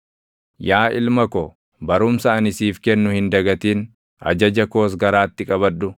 Yaa ilma ko, barumsa ani siif kennu hin dagatin; ajaja koos garaatti qabadhu;